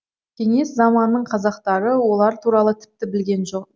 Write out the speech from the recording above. кеңес заманының қазақтары олар туралы тіпті білген жоқ